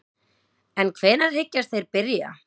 En hvenær hyggjast þeir byrja?